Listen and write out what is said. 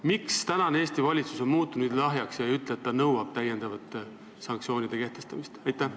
Miks ikkagi on Eesti valitsus muutunud nii lahjaks ega ütle, et ta nõuab täiendavate sanktsioonide kehtestamist?